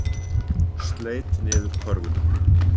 Sleit niður körfuna